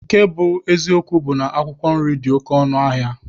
Nke bụ eziokwu bụ na akwụkwọ nri dị oke ọnụ ahịa.